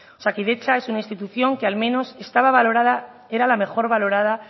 osakidetza es una institución que al menos era la mejora valorada